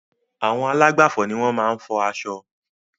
Àwọn alágbàfò ni wọ́n maá n fo aṣọ